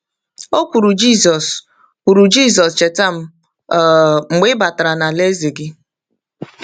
O kwuru, “Jisọs, kwuru, “Jisọs, cheta m um mgbe ị batara n’alaeze gị.”